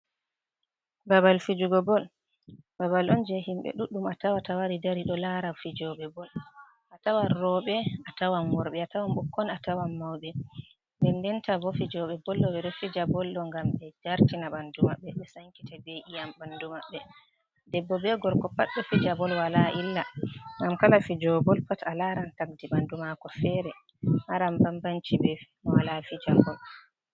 Babal fijugo bol babal on jei himɓe ɗuɗɗum a tawata wari dari ɗo lara fijooɓe bol. A tawan rooɓe, a tawan worɓe, a tawan ɓikkon, a tawan mauɓe nden ndenta bo fijoɓe boll bo ɗo fija boll do ngam ɓe jartina ɓandu maɓɓe, ɓe sankita be iyam ɓandu maɓbe. Debbo be gorko pat ɗo fija boll wala illa ngam kala fijowo bol pat a laran tagdi ɓandu mako fere, maran bambanci be mo wala fija boll.